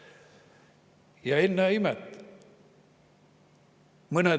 Ja ennäe imet!